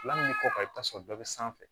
Lamini kɔ i bɛ taa sɔrɔ bɛɛ bɛ sanfɛ